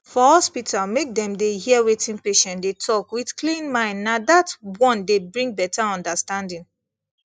for hospital make dem dey hear wetin patient dey talk with clean mindna that one dey bring better understanding